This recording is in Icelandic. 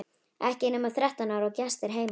Ekki nema þrettán ára og gestir heima!